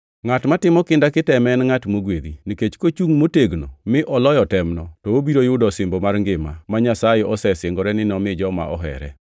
Ngʼat matimo kinda kiteme en ngʼat mogwedhi, nikech kochungʼ motegno mi oloyo temno, to obiro yudo osimbo mar ngima, ma Nyasaye osesingore ni nomi joma ohere.